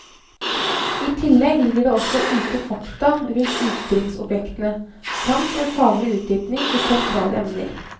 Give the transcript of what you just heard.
I tillegg ligger det også ute fakta rundt utstillingsobjektene, samt en faglig utdypning i sentrale emner.